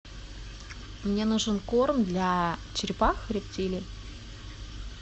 мне нужен корм для черепах рептилий